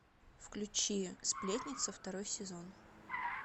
включи сплетница второй сезон